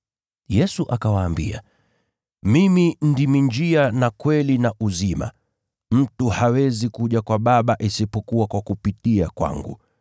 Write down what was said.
Yesu akawaambia, “Mimi ndimi njia na kweli na uzima. Mtu hawezi kuja kwa Baba isipokuwa kwa kupitia kwangu.